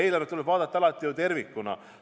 Eelarvet tuleb ju alati vaadata tervikuna.